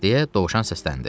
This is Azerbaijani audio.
– deyə dovşan səsləndi.